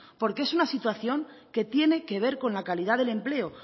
porque es una situación que tiene que ver con la calidad del empleo